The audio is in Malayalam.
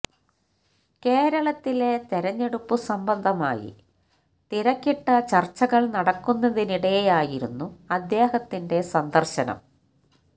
കേരളത്തിലെ തെരഞ്ഞെടുപ്പു സംബന്ധമായി തിരക്കിട്ട ചര്ച്ചകള് നടക്കുന്നതിനിടെയായിരുന്നു അദ്ദേഹത്തിൻെറ സന്ദര്ശനം